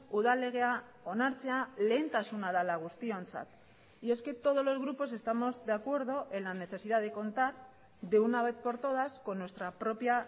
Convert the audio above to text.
udal legea onartzea lehentasuna dela guztiontzat y es que todos los grupos estamos de acuerdo en la necesidad de contar de una vez por todas con nuestra propia